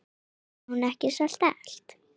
Hafði hún ekki sagt allt?